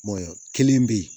kelen bɛ yen